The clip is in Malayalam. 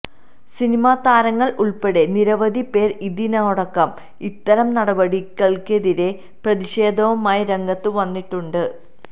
സിനിമതാരങ്ങൾ ഉൾപ്പടെ നിരവധി പേർ ഇതിനോടകം ഇത്തരം നടപടികൾക്കെതിരെ പ്രതിഷേധവുമായി രംഗത്ത് വന്നിട്ടുണ്ട്